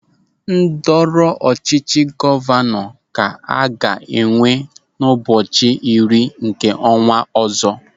Ndọrọ ọchịchị gọvanọ ka a ga-enwe n'ụbọchị iri nke ọnwa ọzọ.